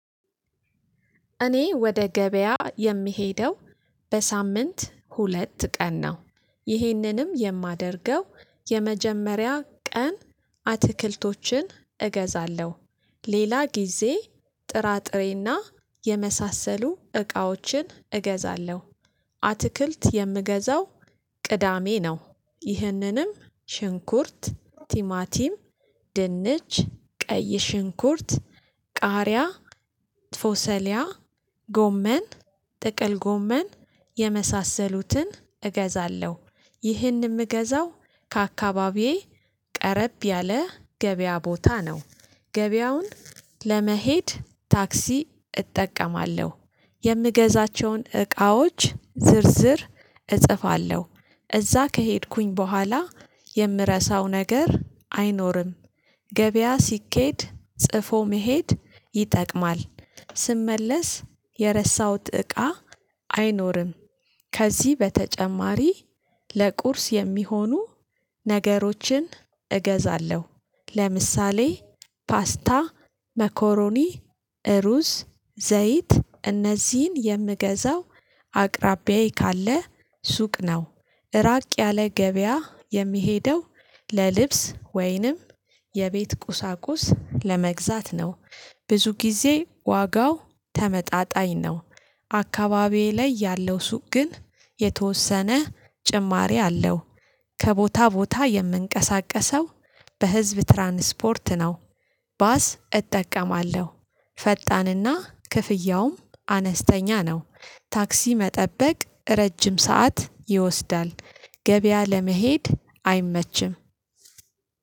እኔ ወደ ገበያ የምሄደው በሳምንት ሁለት ቀን ነው። ይሄንንም የማደርገው የመጀመሪያ ቀን አትክልቶችን እገዛለሁ ሌላ ጊዜ ጥራጥሬና የመሳሰሉ እቃዎችን እገዛለሁ። ይሄንንም የማደርገው የመጀመሪያ ቀን አትክልቶችን እገዛለሁ ሌላ ጊዜ ጥራጥሬና የመሳሰሉ እቃዎችን እገዛለሁ። ፎሰሊያ ጎመን ጥቅል ጎመን የመሳሰሉትን እገዛለሁ። ይህን እምገዛው ከአካባቢዬ ቀረብ ያለ ገበያ ቦታ ነው። ገበያውን ለመሄድ ታክሲ እጠቀማለሁ። የምገዛቸውን እቃዎች ዝርዝር እጽፋለሁ እዛ ከሄድኩኝ ቡሃላ የምረሳው ነገር አይኖርም። ገበያ ሲኬድ ጽፎ መሄድ ይጠቅማል። ስመለስ የረሳውት እቃ አይኖርም። ከዚህ በተጨማሪ ለቁርስ የሚሆኑ ነገሮችን እገዛለሁ። ለምሳሌ ፓስታ መኮሮኒ እሩዝ ዘይት እነዚህን የምገዛው አቅራቢያዬ ካለ ሱቅ ነው። እራቅ ያለ ገበያ የምሄደው ለልብስ ወይንም የቤት ቁሳቁስ ለመግዛት ነው። ብዙ ጊዜ ዋጋው ተመጣጣኝ ነው። አካባቢዬ ላይ ያለው ሱቅ ግን የተወሰነ ጭማሪ አለው። ከቦታ ቦታ የምንቀሳቀሰው በህዝብ ትራንስፖርት ነው። ባስ እጠቀማለሁ ፈጣንና ክፍያውም አነስተኛ ነው። ታክሲ መጠበቅ ረጅም ሰዓት ይወስዳል ገበያ ለመሄድ አይመችም።